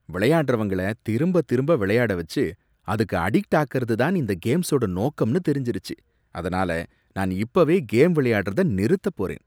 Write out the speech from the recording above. விளையாடுறவங்கள திரும்பத் திரும்ப விளையாட வச்சு அதுக்கு அடிக்ட் ஆக்கறது தான் இந்த கேம்ஸோட நோக்கம்னு தெரிஞ்சுருச்சு, அதனால நான் இப்பவே கேம் விளையாடுறத நிறுத்தப்போறேன்